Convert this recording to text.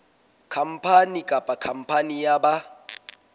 khampani kapa khampani ya ba